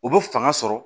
U bɛ fanga sɔrɔ